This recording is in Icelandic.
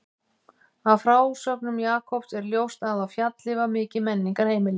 Af frásögnum Jakobs er ljóst að á Fjalli var mikið menningarheimili.